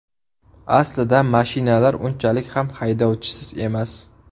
Aslida mashinalar unchalik ham haydovchisiz emas.